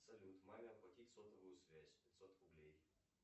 салют маме оплатить сотовую связь пятьсот рублей